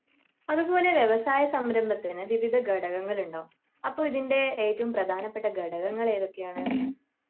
അതുപോലെ വ്യവസായ സംരംഭത്തിന് വിവിധ ഘടകങ്ങൾ ഉണ്ടാവും അപ്പൊ ഇതിൻ്റെ ഏറ്റവും പ്രധാനപ്പെട്ട ഘടകങ്ങൾ ഏതൊക്കെയാണ്